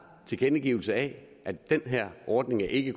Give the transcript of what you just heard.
tilkendegivelse af at den her ordning ikke